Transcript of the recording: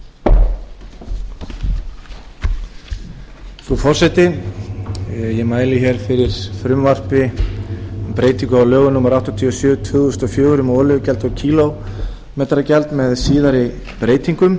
frú forseti ég mæli fyrir frumvarpi um breytingu á lögum númer áttatíu og sjö tvö þúsund og fjögur um olíugjald og kílómetragjald með síðari breytingum